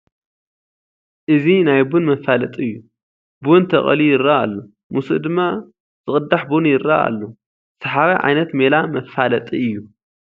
እዚ ናይ ቡን መፋለጢ እዩ፡፡ ቡን ተቐልዩ ይርአ ኣሎ፡፡ ምስኡ ድማ ዝቕዳሕ ቡን ይርአ ኣሎ፡፡ ሰሓባይ ዓይነት ሜላ መፋለጢ እዩ፡፡